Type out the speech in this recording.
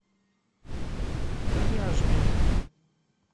коряжме